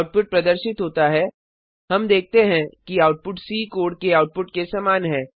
output प्रदर्शित होता है हम देखते हैं कि आउटपुट सी कोड के आउटपुट के समान है